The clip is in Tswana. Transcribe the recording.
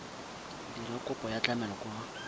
dira kopo ya tlamelo kwa